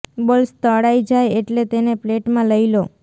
balls તળાય જાય એટલે તેને પ્લેટમાં લઈ લો